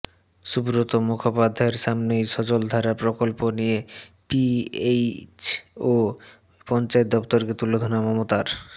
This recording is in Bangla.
সুব্রত মুখোপাধ্যায়ের সামনেই সজলধারা প্রকল্প নিয়ে পিএইচই ও পঞ্চায়েত দফতরকে তুলোধোনা মমতার